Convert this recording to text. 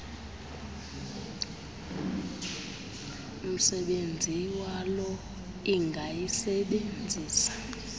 msebenzi walo ingayisebenzisa